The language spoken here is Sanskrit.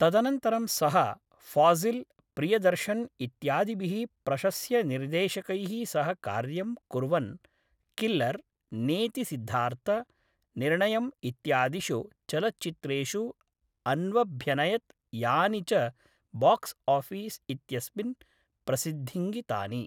तदनन्तरं सः फ़ाज़िल्, प्रियदर्शन् इत्यादिभिः प्रशस्यनिर्देशकैः सह कार्यं कुर्वन् किल्लर्,, नेति सिद्धार्थ, निर्णयम् इत्यादिषु चलच्चित्रेषु अन्वभ्यनयत् यानि च बाक्स् आफ़ीस् इत्यस्मिन् प्रसिद्धिङ्गितानि।